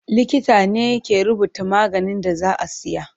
Likita ne ke rubuta maganin da za a siya.